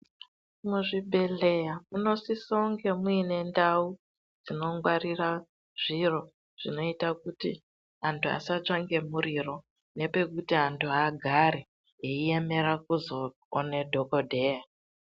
Muzvibhedhlera munosisa kunge muine Zvinongwarira zviro kuita kuti antu asatsva nemuriro kuti antu agare veiemera kuzoona dhokodheya.